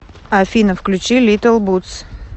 афина включи литл бутс